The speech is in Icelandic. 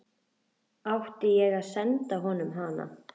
Átti ég að senda honum hana?